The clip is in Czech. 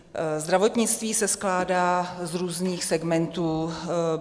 Zdravotnictví se skládá z různých segmentů.